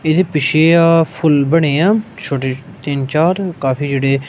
ਇਹ ਪਿੱਛੇ ਆ ਫੁੱਲ ਬਣੇ ਆ ਛੋਟੇ ਤਿੰਨ ਚਾਰ ਕਾਫੀ ਜਿਹੜੇ--